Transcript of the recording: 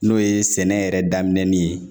N'o ye sɛnɛ yɛrɛ daminɛni ye